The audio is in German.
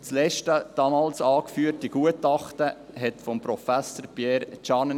Das letzte damals angeführte Gutachten stammte von Professor Pierre Tschannen.